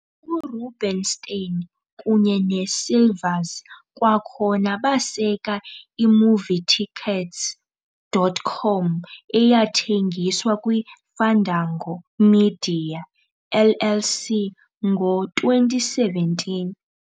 URubenstein kunye neeSilvers kwakhona baseka i-Movietickets.com eyathengiswa kwiFandango Media, LLC ngo-2017.